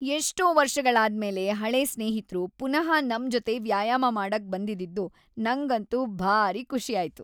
‌ಎಷ್ಟೋ ವರ್ಷಗಳಾದ್ಮೇಲೆ ಹಳೇ ಸ್ನೇಹಿತ್ರು ಪುನಃ ನಮ್ ಜೊತೆ ವ್ಯಾಯಾಮ ಮಾಡಕ್ ಬಂದಿದ್ದಿದ್ದು ನಂಗಂತೂ ಭಾರೀ ಖುಷಿ ಆಯ್ತು.